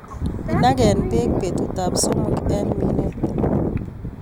Inagen beek betutab somok en minet.